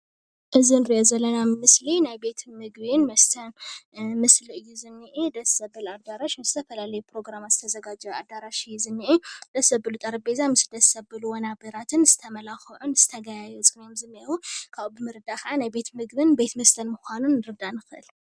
እዚ ንርኦ ዘለና ምስሊ ናይ ቤት ምግብን መስተን ምስሊ እዩ ዝኔአ ደስ ዝብል ኣዳራሽ ንዝተፈላለዩ ፕሮግራማት ዝተዘጋጀወ ኣዳራሽ እዩ ዝኔአ ደስ ዝበል ጠረጴዛን ደስ ዘብሉ ወንበራትን ዝተመላኽዑን ዝተጋየፁን ካብኡ ብምርዳእ ካዓ ቤት ምግብን ቤት መስተን ምዃኑ ንርዳእ ንኽእል።